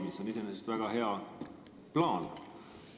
See on iseenesest väga hea plaan.